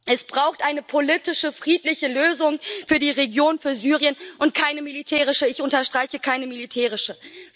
Es braucht eine politische, friedliche Lösung für die Region, für Syrien, und keine militärische ich unterstreiche keine militärische!